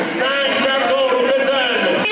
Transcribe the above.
Heydər, Heydər!